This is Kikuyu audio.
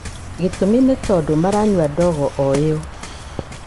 Gĩtũmi nĩ tondũ maranyua ndogo o ĩyo.